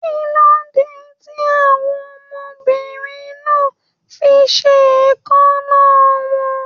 Kilode tí àwọn ọmọbìnrin máa n fí ṣe èékánná wọn?